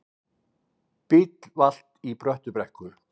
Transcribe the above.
Bíll valt í Bröttubrekku